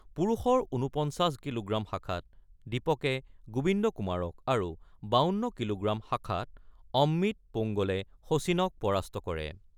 পুৰুষৰ ৪৯ কিলোগ্ৰাম শাখাত দীপকে গোবিন্দ কুমাৰক আৰু ৫২ কিলোগ্ৰাম শাখাত অমিত পোংগলে শচীনক পৰাস্ত কৰে।